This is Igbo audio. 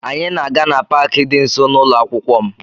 Anyị na-aga na Pááki dị nso na ụlọ akwụkwọ m